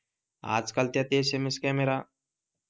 आज काळ त्यात एसेमेस कॅमेरा,